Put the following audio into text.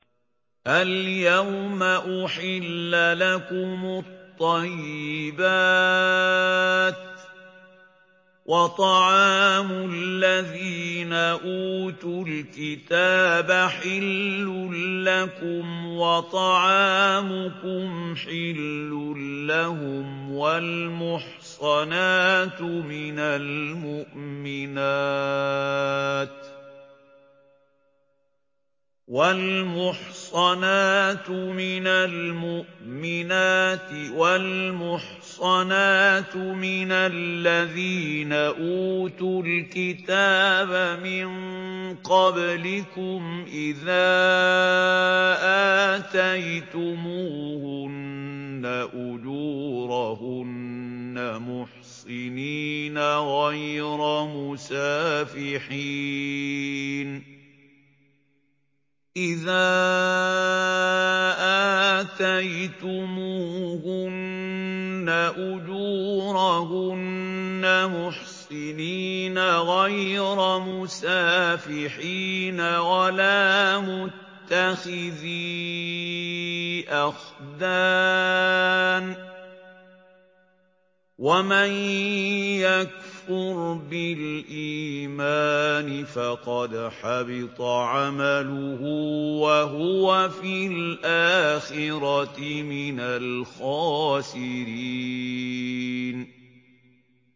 الْيَوْمَ أُحِلَّ لَكُمُ الطَّيِّبَاتُ ۖ وَطَعَامُ الَّذِينَ أُوتُوا الْكِتَابَ حِلٌّ لَّكُمْ وَطَعَامُكُمْ حِلٌّ لَّهُمْ ۖ وَالْمُحْصَنَاتُ مِنَ الْمُؤْمِنَاتِ وَالْمُحْصَنَاتُ مِنَ الَّذِينَ أُوتُوا الْكِتَابَ مِن قَبْلِكُمْ إِذَا آتَيْتُمُوهُنَّ أُجُورَهُنَّ مُحْصِنِينَ غَيْرَ مُسَافِحِينَ وَلَا مُتَّخِذِي أَخْدَانٍ ۗ وَمَن يَكْفُرْ بِالْإِيمَانِ فَقَدْ حَبِطَ عَمَلُهُ وَهُوَ فِي الْآخِرَةِ مِنَ الْخَاسِرِينَ